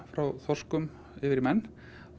frá þorskum yfir í menn